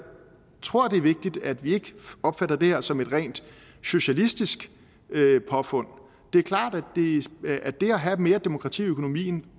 tror det er vigtigt at vi ikke opfatter det her som et rent socialistisk påfund det er klart at det at have mere demokrati i økonomien